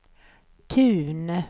Tun